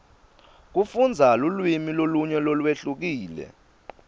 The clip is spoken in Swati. kufundza lulwimi lolunye lolwehlukile